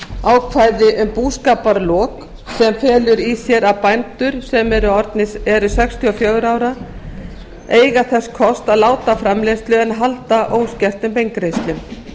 ákvæði um búskaparlok sem felur í sér að bændur sem orðnir eru sextíu og fjögurra ára eiga þess kost að láta af framleiðslu en halda óskertum beingreiðslum í